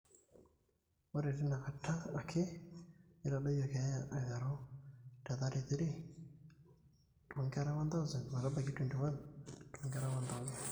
ore teina kata ake netadoyio keeya aiteru te 33 toonkera 1000 nebaiki 21 toonkera 1000